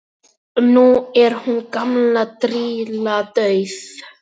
nú er hún gamla grýla dauð